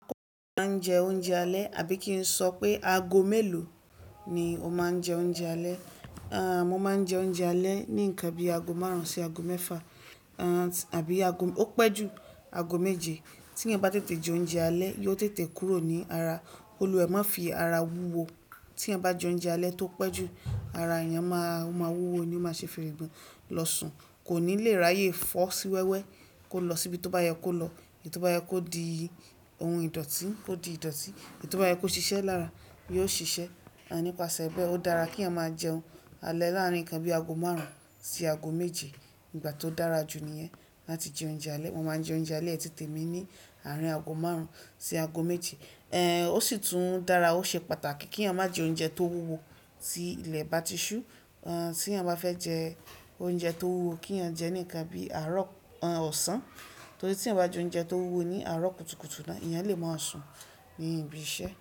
A máa ń jẹ oúnjẹ alẹ́ àbí kí n sọ pé ago mélòó ni o máa ń jẹ oúnjẹ alẹ́? Aah mo máa ń jẹ oúnjẹ alẹ́ ní nǹkan bí ago márùn-ún sí ago mẹ́fà, aah àbí ago-- ó pẹ́ ju ago méje. Tí ẹ́yàn bá tètè jẹ oúnjẹ alẹ́, yóò tètè kúrò ní ara, kólú wa ẹ̀ má fi ara wúwo. Tí èèyàn bá jẹ oúnjẹ alẹ́ tó pẹ́ ju, ara èèyàn máa, ó máa wúwo ni ó máa ṣe fìrìgbọ̀n, lọ sùn, kò ní lè ráyè fọ́ sí wẹ́wẹ́, kó lọ síbi tó bá yẹ kó lọ, tó bá yẹ kó di ohun ìdọ̀tí kó di ìdọ̀tí, tóbá yẹ kó ṣiṣẹ́ lára yóó ṣiṣẹ́. Aah nípasẹ̀ bẹ́ẹ, ó dára kí èèyàn máa jẹ oúnjẹ alẹ́ láàárín nǹkan bí ago márùn-ún sí ago méje. Ìgbà tó dára jù níyẹn láti jẹ oúnjẹ alẹ́. Mo máa ń jẹ oúnjẹ alẹ́ ti tèmi ní àárín ago márùn-ún sí ago méje. Ehn ó sì tún dára ó ṣe pàtàkì kí èèyàn má jẹ oúnjẹ tó wúwo tí ilẹ̀ bá ti ṣú. Aah tí èèyàn bá fẹ́ jẹ oúnjẹ tó wúwo kí èèyàn jẹ́ ní nǹkan bí àárọ̀-- aah ọ̀sán, torí tí èèyàn bá jẹ oúnjẹ tó wúwo ní àárọ̀ kùtùkùtù náà, ẹ̀yàn lè máa sùn ní ibi iṣẹ́